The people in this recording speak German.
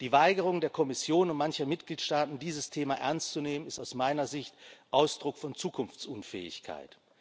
Die Weigerung der Kommission und mancher Mitgliedstaaten, dieses Thema ernst zu nehmen, ist aus meiner Sicht Ausdruck von Zukunftsunfähigkeit.